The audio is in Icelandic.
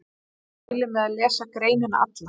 Ég mæli með að lesa greinina alla.